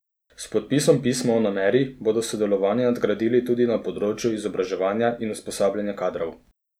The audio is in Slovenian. S podpisom pisma o nameri bodo sodelovanje nagradili tudi na področju izobraževanja in usposabljanja kadrov.